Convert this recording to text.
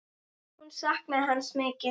Hún saknaði hans mikið.